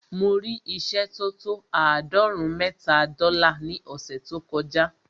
Mo rí ìṣẹ́ tó tó àádọ́rùn-ún mẹ́ta dọ́là ní ọ̀ṣẹ̀ tó kọ já.